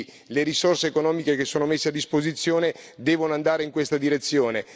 Quindi le risorse economiche che sono messe a disposizione devono andare in questa direzione.